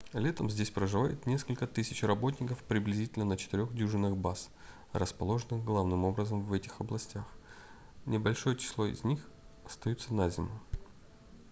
летом здесь проживает несколько тысяч работников приблизительно на четырех дюжинах баз расположенных главным образом в этих областях небольшое число из них остаются на зиму